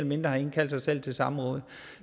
mindre har indkaldt sig selv til et samråd